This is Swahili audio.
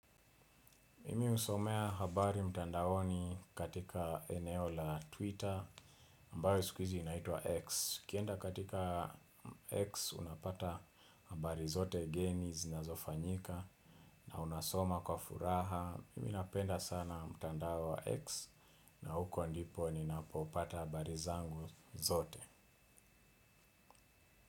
Mimi husomea habari mtandaoni katika eneo la Twitter ambayo siku hizi inaitwa X ukienda katika X unapata habari zote geni zinazofanyika na unasoma kwa furaha mimi napenda sana mtandao wa X na huko ndipo ninapopata habari zangu zote.